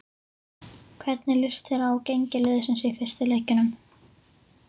Hvernig lýst þér á gengi liðsins í fyrstu leikjunum?